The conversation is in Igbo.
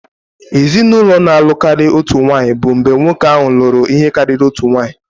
Ezinụlọ na-alụ karịa otu nwanyị bụ mgbe nwoke ahụ lụrụ ihe karịrị otu nwanyị